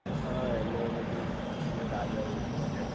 હા ઍટલે એ બધુ રાજાઑ એ જ બનાયું